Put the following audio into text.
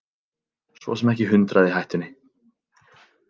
Svo sem ekki hundrað í hættunni.